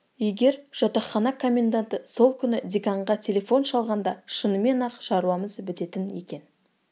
егер жатақхана комменданты сол күні деканға телефон шалғанда шынымен-ақ шаруамыз бітетін екен